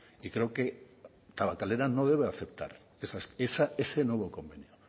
y creo que tabakalera no debe aceptar ese nuevo convenio